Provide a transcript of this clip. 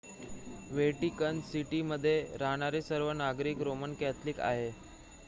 Vatican सिटीमध्ये राहणारे सर्व नागरिक रोमन कॅथोलिक आहेत